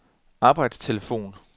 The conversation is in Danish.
arbejdstelefon